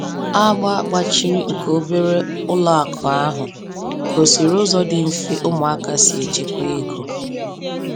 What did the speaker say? Agba gbachiri nke obere ụlọ akụ ahụ gosiri ụzọ dị mfe ụmụaka si echekwa ego.